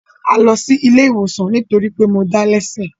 A lọ sí ilé ìwòsàn nítórí pé mo dá lẹ́sẹ̀